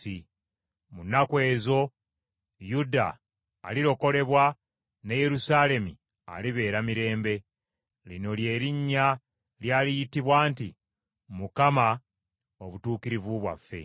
Mu nnaku ezo Yuda alirokolebwa ne Yerusaalemi alibeera mirembe. Lino lye linnya ly’aliyitibwa nti, Mukama Obutuukirivu bwaffe.’ ”